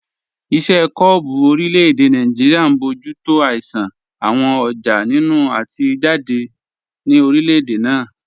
Iṣẹ́ kọ́ọ̀bù orílẹ̀-èdè Nàìjíríà ń bójú tó ìṣàn àwọn ọjà nínú àti jáde ní orílẹ̀-èdè náà